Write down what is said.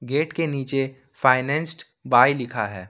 Gate के नीचे financed by लिखा है।